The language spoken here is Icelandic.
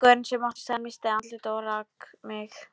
Gaurinn sem átti staðinn missti andlitið og rak mig.